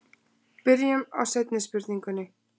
Byrjum á seinni spurningunni.